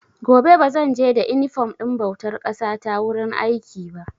Gobe ba zan je da inifom ɗin bautar ƙasa ta wurin aiki ba.